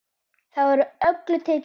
Þar var öllum tekið vel.